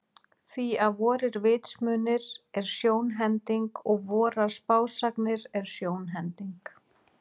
Því að vorir vitsmunir er sjónhending, og vorar spásagnir er sjónhending.